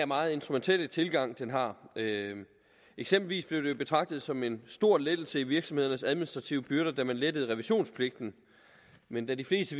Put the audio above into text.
meget instrumentelle tilgang den har eksempelvis blev det jo betragtet som en stor lettelse af virksomhedernes administrative byrder da man lettede revisionspligten men da de fleste